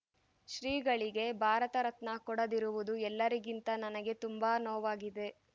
ಶ್ರೀಗಳಿಗೆ ಭಾರತ ರತ್ನ ಕೊಡದಿರುವುದು ಎಲ್ಲರಿಗಿಂತ ನನಗೆ ತುಂಬಾ ನೋವಾಗಿದೆ